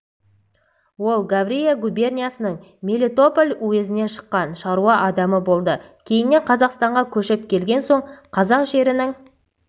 ол таврия губерниясының мелитополь уезінен шыққан шаруа адамы болды кейіннен қазақстанға көшіп келген соң қазақ жерінің